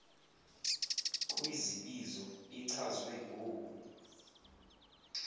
kwizibizo ichazwe ngoku